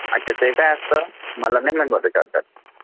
अच्छा ते काय असता मला नाही महती त्याबद्दल